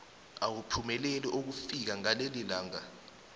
awuphumeleli ukufika ngalelilanga